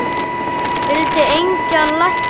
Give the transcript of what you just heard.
Vildi engan lækni.